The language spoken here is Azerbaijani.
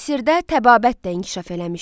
Misirdə təbabət də inkişaf eləmişdi.